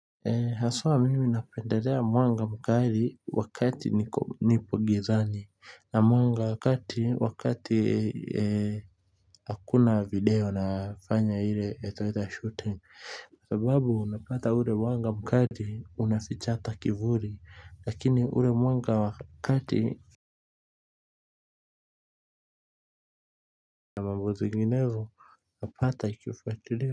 Eh haswa mimi napendelea mwanga mkali wakati nipo gizani na mwanga wa kati wakati hakuna video nafanya ile iitwazo shooting sababu unapata ule wanga mkali unaficha hata kivuli lakini ule mwanga wa kati na mambo zinginezo napata ikifuatuliwa.